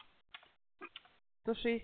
сто шесть